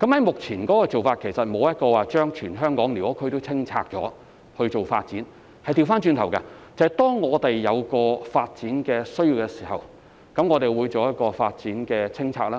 我們目前的做法，其實並非要清拆全港的寮屋區以作發展，而是相反，當我們有發展需要時，便會就某個發展項目進行清拆，